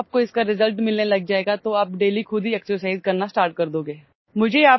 जब आपकोइसका ରିଜଲ୍ଟ मिलने लग जाएगा तो आप ଡେଲି खुद हीଏକ୍ସରସାଇଜ୍ करना ଷ୍ଟାର୍ଟ कर दोगे